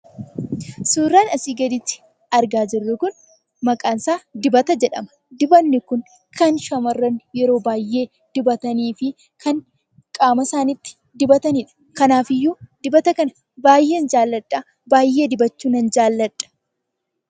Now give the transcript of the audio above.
Suuraan asii gaditti argaa jirru kun maqaan isaa dibata jedhama. Dibanni kun kan shamarran yroo baay'ee dibatanii fi kan qaama isaaniitti dibatanidha. Kanaafiyyuu dibata kana baay'een jaalladha, baay'ee dibachuu nan jaalladha.